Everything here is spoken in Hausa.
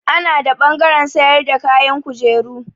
Ana da ɓangaren sayar da kayan kujeru.